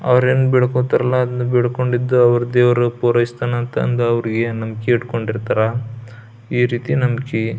ಅವ್ರೆನ್ನ್ ಬೆಡ್ಕೋತಾರಲ್ಲ ಅದನ್ನ ಬೆಡ್ಕೊಂಡಿದ್ದು ಅವ್ರ್ ದೇವ್ರ್ ಪುರೈಸ್ತನಂತಂದು ಅವ್ರೇನು ನಂಬಿಕೆ ಇಟ್ಕೊಂಡಿರ್ತಾರ ಈ ರೀತಿ ನಂಬ್ಕೀ.